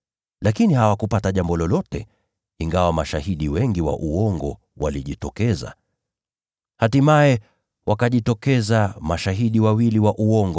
Lakini hawakupata jambo lolote, ingawa mashahidi wengi wa uongo walijitokeza. Hatimaye wakajitokeza mashahidi wawili wa uongo